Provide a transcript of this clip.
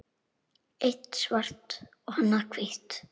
Eitt svart og annað hvítt.